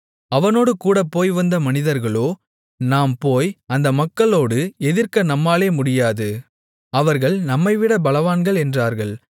அவனோடுகூடப் போய்வந்த மனிதர்களோ நாம் போய் அந்த மக்களோடு எதிர்க்க நம்மாலே முடியாது அவர்கள் நம்மைவிட பலவான்கள் என்றார்கள்